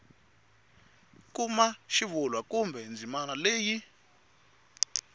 kuma xivulwa kumbe ndzimana leyi